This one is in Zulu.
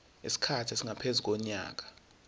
isikhathi esingaphezu konyaka